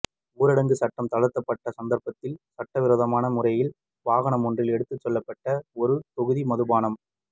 ஊரடங்கு சட்டம் தளர்த்தப்பட்ட சந்தர்ப்பத்தில் சட்ட விரோதமான முறையில் வாகனமொன்றில் எடுத்துச் செல்லப்பட்ட ஒரு தொகுதி மதுபான